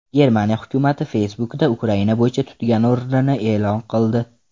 Germaniya hukumati Facebook’da Ukraina bo‘yicha tutgan o‘rnini e’lon qildi.